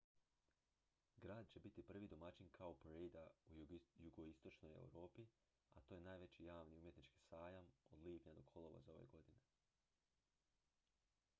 grad će biti prvi domaćin cowparadea u jugoistočnoj europi a to je najveći javni umjetnički sajam od lipnja do kolovoza ove godine